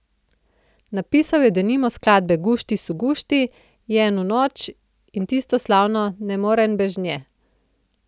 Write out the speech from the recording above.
Napisal je denimo skladbe Gušti su gušti, Jenu noč in tisto slavno Ne moren bež nje.